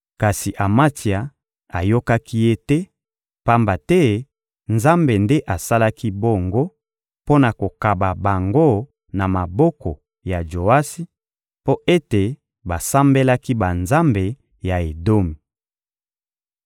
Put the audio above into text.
Kasi Amatsia ayokaki ye te, pamba te Nzambe nde asalaki bongo mpo na kokaba bango na maboko ya Joasi, mpo ete basambelaki banzambe ya Edomi.